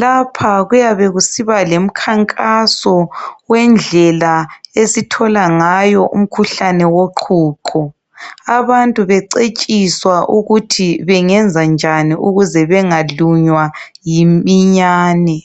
Lapha kuyabe kusiba lemkhankaso wendlela esithola ngayo umkhuhlane woqhuqho. Abantu becetshiswa ukuthi bengenza njani ukuze benga lunywa yiminyane.